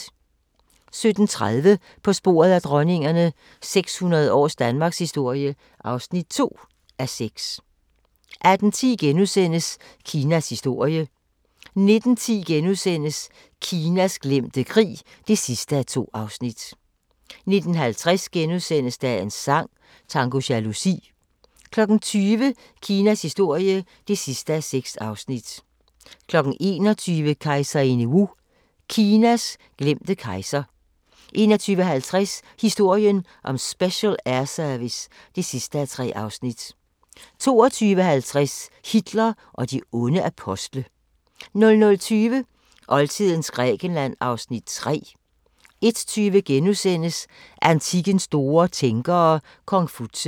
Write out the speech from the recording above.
17:30: På sporet af dronningerne – 600 års danmarkshistorie (2:6) 18:10: Kinas historie (5:6)* 19:10: Kinas glemte krig (2:2)* 19:55: Dagens sang: Tango jalousi * 20:00: Kinas historie (6:6) 21:00: Kejserinde Wu – Kinas glemte kejser 21:50: Historien om Special Air Service (3:3) 22:50: Hitler og de onde apostle 00:20: Oldtidens Grækenland (Afs. 3) 01:20: Antikkens store tænkere – Konfutse *